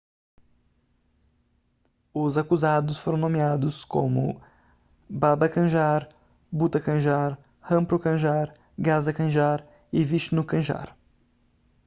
os acusados foram nomeados como baba kanjar bhutha kanjar rampro kanjar gaza kanjar e vishnu kanjar